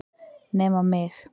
Nema mig!